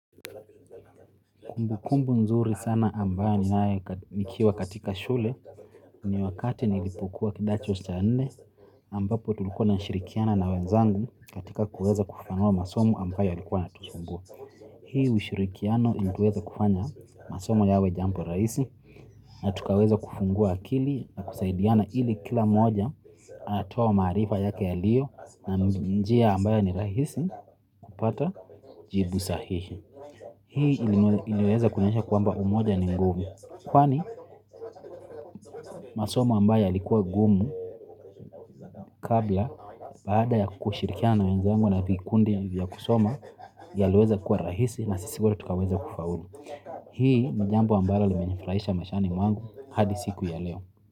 Kumbu kumbu nzuri sana ambayo ninae mikiwa katika shule. Ni wakati nilipokuwa kidacho cha nne ambapo tulukuwa tuna shirikiana na wenzangu katika kuweza kufanua masomo ambayo yalikuwa yanatusumbua. Hii ushirikiano ili tuweza kufanya masomo yawe jampo raisi. Na tukaweza kufungua akili na kusaidiana ili kila mmoja atua marifa yake ya lio na njia ambayo ni raisi. Upata jibu sahihi. Hii iliweza kunionyesha kwamba umoja ni mgumu kwani masomao ambayo yalikuwa gumu kabla. Bada ya kushirikia na wenzengu na vikundi vya kusoma. Yalueza kuwa rahisi na sisi wote tukaweza kufaulu. Hii jambo ambalo limenifraisha mashani mwangu hadi siku ya leo.